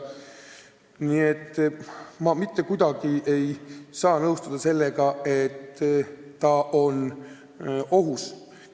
Nii et ma mitte kuidagi ei saa nõustuda sellega, et päästetöö on ohus.